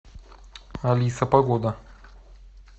алиса погода